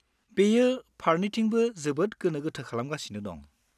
बेयो फारनैथिंबो जोबोद गोनो गोथो खालामगासिनो दं।